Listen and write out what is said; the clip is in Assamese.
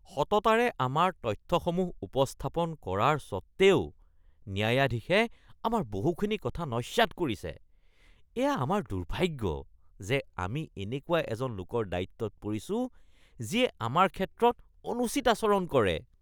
সততাৰে আমাৰ তথ্যসমূহ উপস্থাপন কৰাৰ সত্ত্বেও, ন্যায়াধীশে আমাৰ বহুখিনি কথা নস্যাৎ কৰিছে। এয়া আমাৰ দুৰ্ভাগ্য যে আমি এনেকুৱা এজন লোকৰ দায়িত্বত পৰিছো যিয়ে আমাৰ ক্ষেত্ৰত অনুচিত আচৰণ কৰে।(অধিবক্তা)